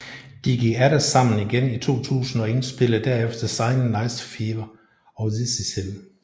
De gik atter sammen igen i 2000 og indspillede derefter Silent Night Fever og This is Hell